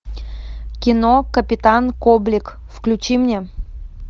кино капитан коблик включи мне